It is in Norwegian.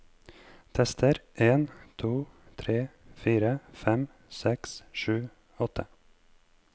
Tester en to tre fire fem seks sju åtte